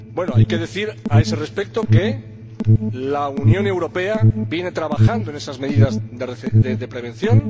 Hay que decir, a ese respecto, que la Unión Europea viene trabajando en esas medidas de prevención.